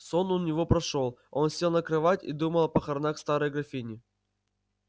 сон у него прошёл он сел на кровать и думал о похоронах старой графини